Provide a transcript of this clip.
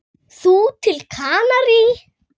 Þú til Kanarí?